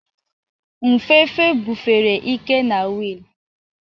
Nfefe bufere ike na wiil.